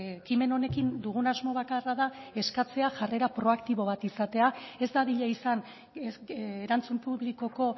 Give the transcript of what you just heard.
ekimen honekin dugun asmo bakarra da eskatzea jarrera proaktibo bat izatea ez dadila izan erantzun publikoko